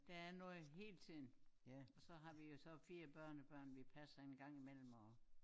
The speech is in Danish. Der er noget hele tiden og så har vi jo så 4 børnebørn vi passer en gang i mellem og